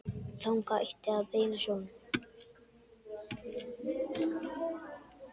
Þangað ætti að beina sjónum.